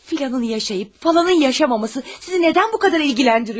Filanın yaşayıb, falanın yaşamaması sizi nədən bu qədər ilgiləndiriyor?